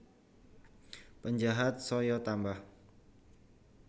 Penjahat saya tambah